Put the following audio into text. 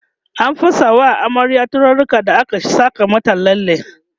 an fesa wa amaryar turaruka da aka Saka mata lalle